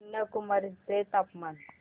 कन्याकुमारी चे तापमान